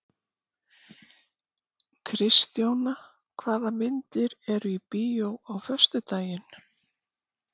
Kristjóna, hvaða myndir eru í bíó á föstudaginn?